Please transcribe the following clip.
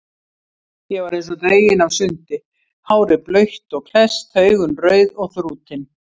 Ég var eins og dregin af sundi, hárið blautt og klesst, augun rauð og þrútin.